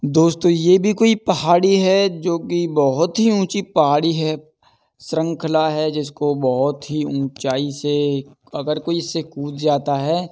दोस्तो ये भी कोई पहाडी है जो कि बोहत ही ऊंची पहाड़ी है श्रंखला है जिसको बोहत ही ऊंचाई से अगर कोई इससे कूद जाता है --